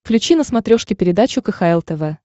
включи на смотрешке передачу кхл тв